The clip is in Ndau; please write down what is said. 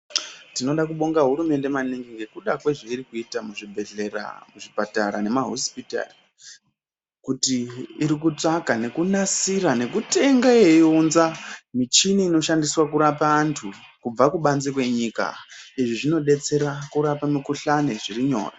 Tinoda Kubonga hurumende maningi ngekuda kwezve iri kuita mu zvibhehlera ku zvipatara nema hosipitari kuti iri kutsvaka neku nasira neku tenge yei unza michini ino shandiswa kurapa antu kubva kubanze kwe nyika izvi zvino detsera kurapa mi kuhlani zviri nyore.